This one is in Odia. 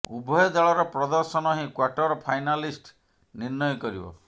ଉଭୟ ଦଳର ପ୍ରଦର୍ଶନ ହିଁ କ୍ବାର୍ଟର ଫାଇନାଲିଷ୍ଟ ନିର୍ଣ୍ଣୟ କରିବ